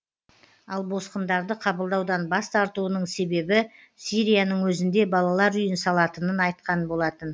ал босқындарды қабылдаудан бас тартуының себебі сирияның өзінде балалар үйін салатынын айтқан болатын